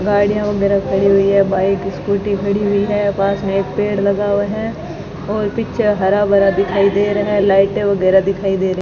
गाड़ियां वगैरा खड़ी हुई है बाइक स्कूटी खड़ी हुई है पास मे एक पेड़ लगा हुआ है और पीछे हरा-भरा दिखाई दे रहा है लाइटें वगैरा दिखाई दे रही --